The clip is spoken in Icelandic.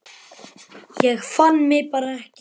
Ég fann mig bara ekki.